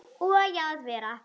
Og að vera